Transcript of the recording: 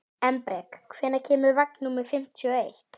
Embrek, hvenær kemur vagn númer fimmtíu og eitt?